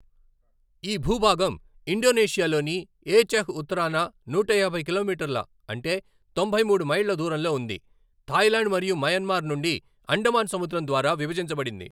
ఈ భూభాగం ఇండోనేషియాలోని ఏచెహ్ ఉత్తరాన నూటయాభై కిలోమీటర్ల అంటే తొంభై మూడు మైళ్ళు దూరంలో ఉంది, థాయిలాండ్ మరియు మయన్మార్ నుండి అండమాన్ సముద్రం ద్వారా విభజించబడింది.